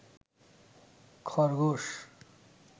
খরগোশ